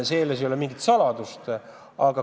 See ei ole mingi saladus.